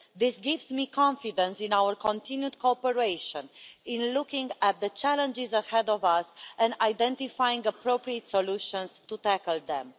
This gives me confidence in our continued cooperation in looking at the challenges ahead of us and identifying appropriate solutions to tackle them.